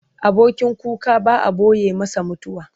Abokin kuka ba a ɓoye masa mutuwa.